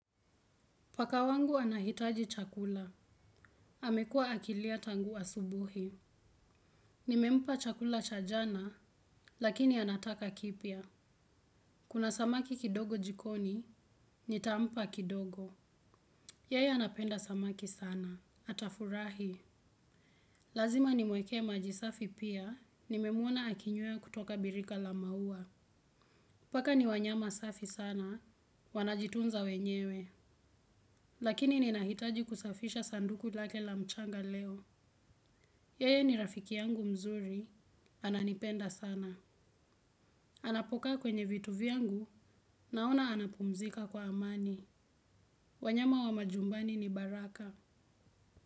Paka wangu anahitaji chakula. Amekua akilia tangu asubuhi. Nimempa chakula chajana, lakini anataka kipia. Kuna samaki kidogo jikoni, nitampa kidogo. Yeye anapenda samaki sana. Atafurahi. Lazima nimwekee majisafi pia, nimemwona akinywea kutoka birika lamaua. Paka ni wanyama safi sana, wanajitunza wenyewe. Lakini ninahitaji kusafisha sanduku lake la mchanga leo. Yeye ni rafiki yangu mzuri, ananipenda sana. Anapokaa kwenye vitu vyangu, naona anapumzika kwa amani. Wanyama wa majumbani ni baraka.